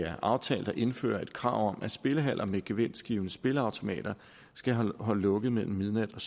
er aftalt at indføre et krav om at spillehaller med gevinstgivende spilleautomater skal holde lukket mellem midnat og